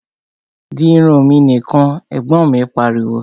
Di irun mi nìkan! Ẹ̀gbọ́n mi pariwo